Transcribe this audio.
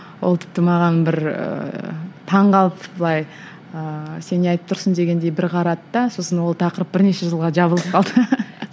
ол тіпті маған бір ііі таңғалып былай ыыы сен не айтып тұрсың дегендей бір қарады да сосын ол тақырып бірнеше жылға жабылып қалды